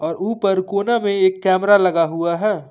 और ऊपर कोना में एक कैमरा लगा हुआ है।